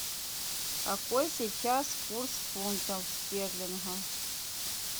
какой сейчас курс фунтов стерлингов